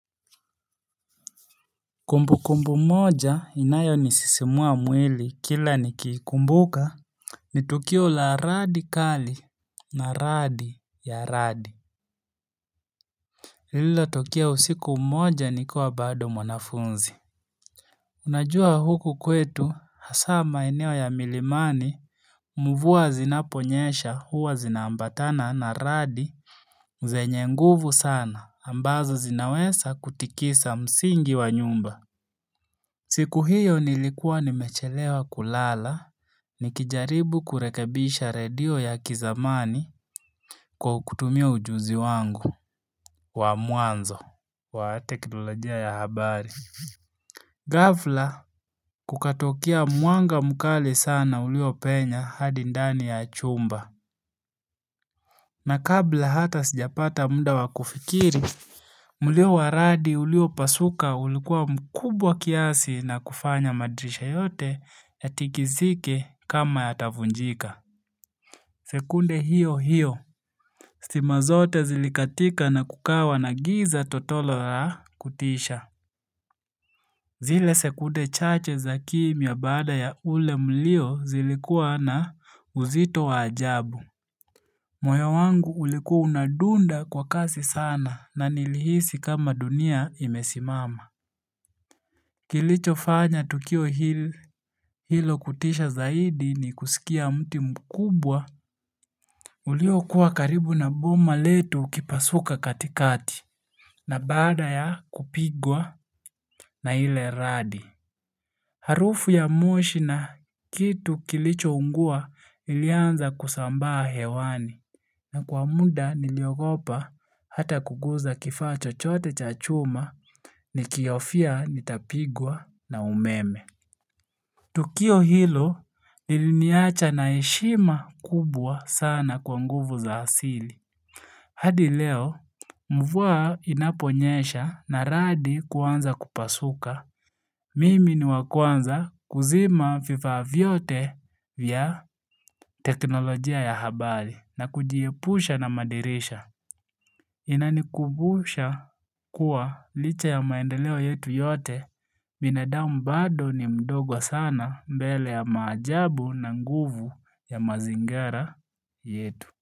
Kumbu kumbu moja inayo nisisimua mwili kila nikikumbuka Nitukio la radi kali na radi ya radi Lilo tukia usiku moja nikuwa bado mwanafunzi Unajua huku kwetu hasa ma eneo ya milimani mvua zinaponyesha huwa zinaambatana na radi zenye nguvu sana ambazo zinawesa kutikisa msingi wa nyumba siku hiyo nilikuwa nimechelewa kulala nikijaribu kurekebisha radio ya kizamani kwa kutumia ujuzi wangu wa muanzo wa teknolojia ya habari. Gafla kukatokia mwanga mkali sana ulio penya hadi ndani ya chumba. Na kabla hata sijapata muda wakufikiri, mlio wa radi ulio pasuka ulikuwa mkubwa kiasi na kufanya madrisha yote yatikizike kama yatavunjika. Sekunde hiyo hiyo, stima zote zilikatika na kukawa na giza totolo la kutisha. Zile sekunde chache za kimia baada ya ule mlio zilikua na uzito wajabu. Moyo wangu uliku unadunda kwa kasi sana na nilihisi kama dunia imesimama. Kilicho fanya Tukio hilo kutisha zaidi ni kusikia mti mkubwa. Uliokua karibu na boma letu ukipasuka katikati na bada ya kupigwa na ile radi. Harufu ya moshi na kitu kilicho ungua ilianza kusambaa hewani. Na kwa muda niliogopa hata kuguza kifaa chochote cha chuma nikiahofia nitapigwa na umeme. Tukio hilo liliniacha na heshima kubwa sana kwa nguvu za hasili. Hadi leo, mvua inaponyesha na radi kuanza kupasuka. Mimi ni wa kwanza kuzima vifaa vyote vya teknolojia ya habari na kujiepusha na madirisha. Inanikumbusha kuwa licha ya maendeleo yetu yote binadamu bado ni mdogo sana mbele ya maajabu na nguvu ya mazingara yetu.